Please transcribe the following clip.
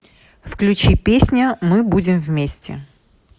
включи песня мы будем вместе